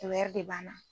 Tɛ wɛrɛ de b'an na